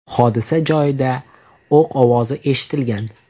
Hodisa joyida o‘q ovozlari eshitilgan.